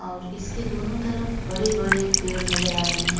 और इसके दोनों तरफ बड़े बड़े पेड नज़र आ रहे है।